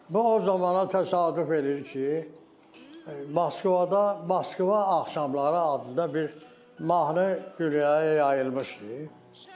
Bu o zamana təsadüf edir ki, Moskvada Moskva Axşamları adında bir mahnı qürüyə yayılmışdı.